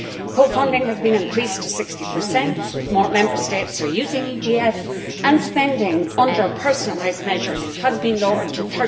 Co funding has been increased to 60, more Member States are using EGF and spending, under personalised measures, has been lowered